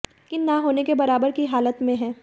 लेकिन ना होने के बराबर की हालत में है